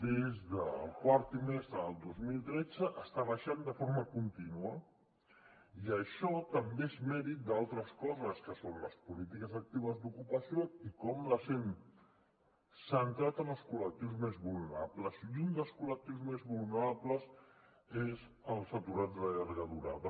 des del quart trimestre del dos mil tretze està baixant de forma contínua i això també és mèrit d’altres coses que són les polítiques actives d’ocupació i com que les hem centrat en els col·lectius més vulnerables i un dels col·lectius més vulnerables són els aturats de llarga durada